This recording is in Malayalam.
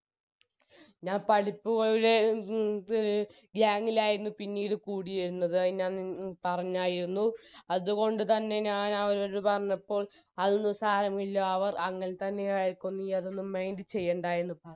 ഞാൻ പഠിപ്പികളുടെ ഗ് gang ഇൽ ആയിരുന്നു പിന്നീട് കൂടിയിരുന്നത് അത് ഞാൻ പി പറഞ്ഞായിരുന്നു അത്കൊണ്ട് തന്നെ ഞാൻ അവരോട് പറഞ്ഞപ്പോൾ അതൊന്നും സാരമില്ല അവർ അംങ്ങത്തന്നെ ആരിക്കും നീ അതൊന്നും mind ചെയ്യണ്ട എന്ന്